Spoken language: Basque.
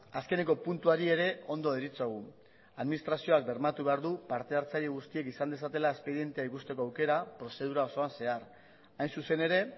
azkeneko puntuari ere ondo deritzogu administrazioak bermatu behar du parte hartzaile guztiek izan dezatela espedientea ikusteko aukera prozedura osoan zehar hain zuzen ere